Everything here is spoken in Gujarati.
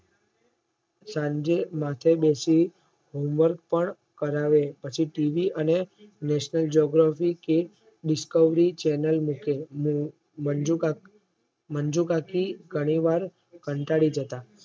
સાંજે માથે બેશી home work પણ કરાવે પછી ટીવી અને નેશનલ Discovery Channel મૂકે મંજુકાકી ધણી વાર કંટાળી જતા